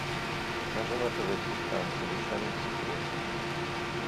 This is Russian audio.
покажи на тв телеканал совершенно секретно